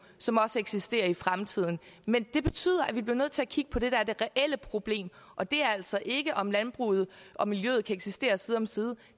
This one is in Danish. som også eksisterer i fremtiden men det betyder at vi bliver nødt til at kigge på det der er det reelle problem og det er altså ikke om landbruget og miljøet kan eksistere side om side